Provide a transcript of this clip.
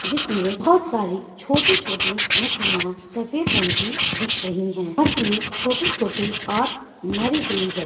जिसमें बहुत सारी छोटी-छोटी मछलियां सफेद रंग की दिख रही है । मछली छोटी-छोटी और मरी हुई है।